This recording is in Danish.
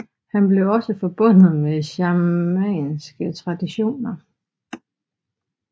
Han blev også forbundet med shamanistiske traditioner